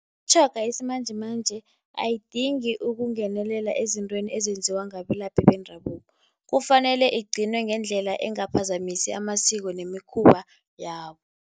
Imitjhoga yesimanjemanje ayidingi ukungenelela ezintweni ezenziwa ngabelaphi bendabuko. Kufanele igcinwe ngendlela engaphazamisi amasiko nemikhuba yabo.